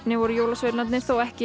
voru jólasveinarnir þó ekki